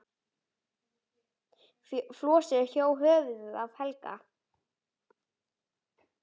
Flosi hjó höfuðið af Helga.